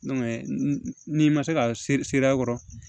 n'i ma se ka sereya kɔrɔ